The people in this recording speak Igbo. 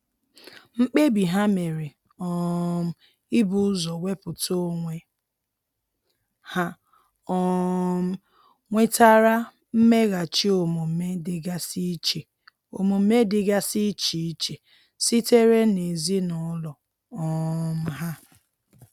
Mkpebi ha mere um ibu ụzọ wepụta onwe ha um nwetara mmeghachi omume dịgasi iche omume dịgasi iche iche sitere n'ezinụlọ um ha.